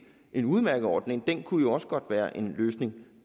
en udmærket ordning den kunne jo også godt være en løsning